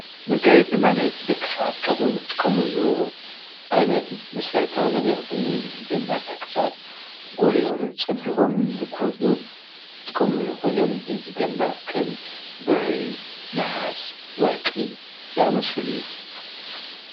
መጋየፂ ማለት ደቂ ሰባት ካብዞም ዝጥቀምሉ ዓይነት መሰረታዊ ነገር ኮይኑ እዚ ድማ ደቂ ሰባት ጎሊሆምን ፀቢቆምን ንክወፁ ዝጥቀምሉ ኮይኖም እዚ ድማ ከም ብሪ፣ ነሃስ፣ ወርቂ ዝኣምሰሉ እዮም፡፡